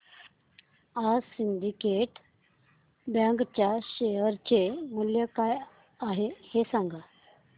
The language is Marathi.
आज सिंडीकेट बँक च्या शेअर चे मूल्य काय आहे हे सांगा